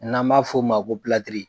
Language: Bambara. N'an b'a f'o ma ko